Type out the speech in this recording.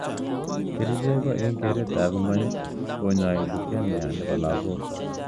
Kercheck ko ing keret ap nguny konyoi Lukemia ap lagok.